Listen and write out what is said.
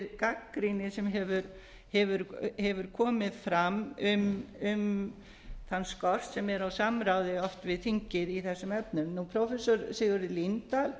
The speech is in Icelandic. gagnrýni sem hefur komið fram um þann skort sem er á samráði oft við þingið í þessum efnum prófessor sigurður líndal